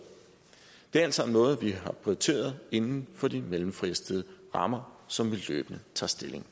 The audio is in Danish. det er alt sammen noget vi har prioriteret inden for de mellemfristede rammer som vi løbende tager stilling